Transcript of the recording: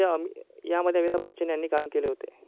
या मध्ये अमिताभ बच्चन यांनी काम केले होते.